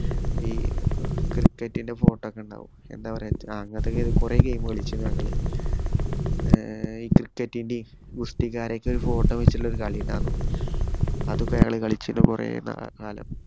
ഈ cricket ന്‍റെ photo ഒക്കെയുണ്ടാവും എന്നാ പറയണ്ടേ കൊറേ game കളിച്ചു ഞങ്ങള്. ഈ cricket ന്റെ ഗുസ്തിക്കാരേം ഒക്ക photo വച്ചിട്ടുള്ള ഒരു കളിയുണ്ടായിരുന്നു. അത് ഒക്കെ ഞങ്ങൾ കളിച്ചിരുന്നു കൊറേ കാലം